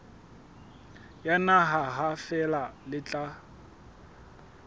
yona ha feela le tla